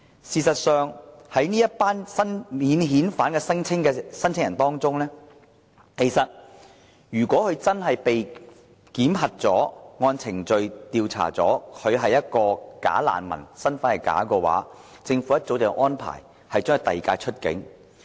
事實上，在這群免遣返聲請人當中，如果真的經過檢核、按程序作出調查，而他是一個"假難民"、身份是假的話，政府早已安排把他遞解出境。